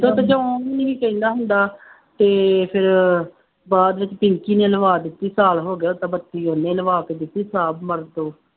ਨਹੀਂ ਕਹਿੰਦਾ ਹੁੰਦਾ ਅਤੇ ਫੇਰ ਬਾਅਦ ਵਿੱਚ ਪਿੰਕੀ ਨੇ ਲਵਾ ਦਿੱਤੀ, ਸਾਲ ਹੋ ਗਿਆ ਤਾਂ ਬੱਤੀ ਉਹਨੇ ਲਵਾ ਕੇ ਦਿੱਤੀ,